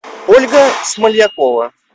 ольга смолякова